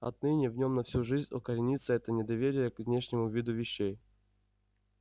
отныне в нём на всю жизнь укоренится это недоверие к внешнему виду вещей